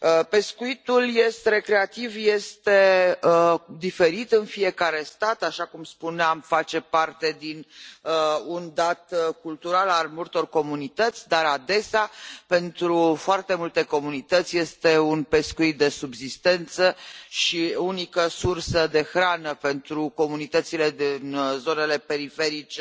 Pescuitul recreativ este diferit în fiecare stat, așa cum spuneam, face parte dintr un dat cultural al multor comunități, dar, adesea, pentru foarte multe comunități, este un pescuit de subzistență și unica sursă de hrană pentru comunitățile din zonele periferice